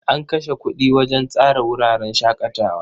An kashe kuɗi wajen tsara wuraren shaƙatawa.